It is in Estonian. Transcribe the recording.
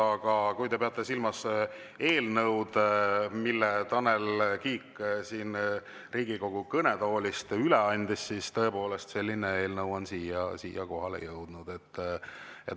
Aga kui te peate silmas eelnõu, mille Tanel Kiik siin Riigikogu kõnetoolis üle andis, siis tõepoolest, selline eelnõu on siia kohale jõudnud.